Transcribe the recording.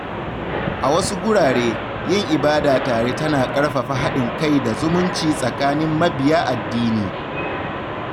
A wasu gurare, yin ibada tare tana ƙarfafa haɗin kai da zumunci tsakanin mabiya addini.